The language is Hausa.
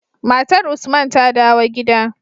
Matar usman ta dawo gida